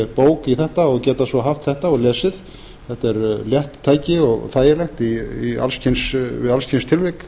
bók í þetta og geta svo haft þetta og lesið þetta er létt tæki og þægilegt við alls kyns tilvik